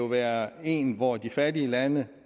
være en hvor de fattige lande